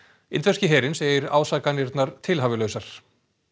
indverski herinn segir ásakanirnar tilhæfulausar